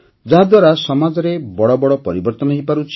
ଯାହାଦ୍ୱାରା ସମାଜରେ ବଡ଼ ବଡ଼ ପରିବର୍ତ୍ତନ ହୋଇପାରୁଛି